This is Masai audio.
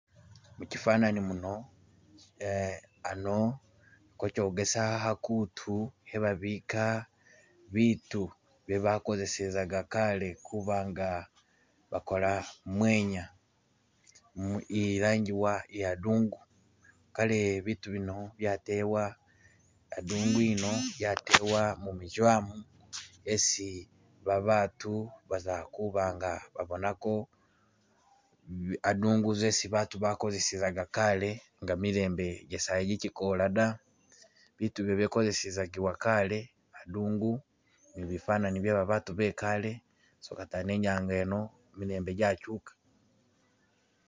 Muchifananyi muno aa ano kochogeza khakutu e'babika biitu bye bakosezezaka kaale kuba nga bakola mwenya mu e'langiwa a'dungu, kale biitu bino byatebwa, a'dungu eno yatebwa mu meseum esi babatu baza kuba nga babonako bi.. a'dungu zezi baatu bakosezezaka kaale nga milembe jasayi ji jikola da, biitu ebyo byakosizizakiwa kaale a'dungu ni bifananyi bye babaatu bikaale so katano i'nyange eno kimilembe jachuka